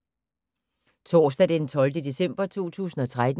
Torsdag d. 12. december 2013